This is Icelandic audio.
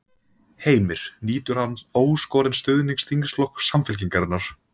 Heimir: Nýtur hann óskorins stuðnings þingflokks Samfylkingarinnar?